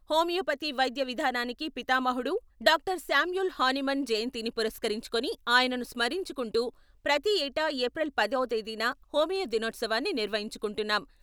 Homeopathy వైద్య విధానానికి పితామహుడు, డాక్టర్ సామ్యూల్ హానీమన్ జయంతిని పురస్కరించుకుని ఆయనను స్మరించుకుంటూ ప్రతి ఏటా ఏప్రిల్ పదవ తేదీన హోమియో దినోత్సవాన్ని నిర్వహించుకుంటున్నాం.